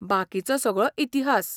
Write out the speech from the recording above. बाकिचो सगळो इतिहास!